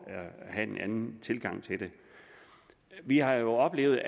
have en anden tilgang til det vi har jo oplevet